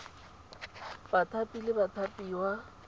bathapi le bathapiwa tse di